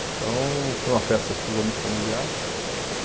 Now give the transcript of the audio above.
Então foi uma festa exclusivamente familiar.